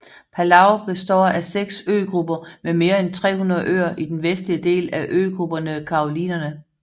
Palau består af seks øgrupper med mere end 300 øer i den vestlige del af øgruppen Carolinerne